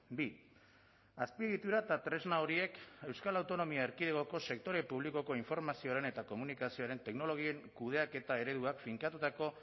bi azpiegitura eta tresna horiek euskal autonomia erkidegoko sektore publikoko informazioaren eta komunikazioaren teknologien kudeaketa ereduak finkatutako